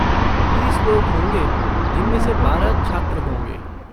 बीस लोग होंगे जिनमें से बारह छात्र होंगे।